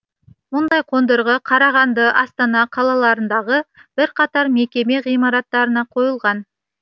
мұндай қондырғы қарағанды астана қалаларындағы бірқатар мекеме ғимараттарына қойылған